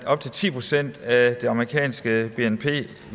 op til ti procent af det amerikanske bnp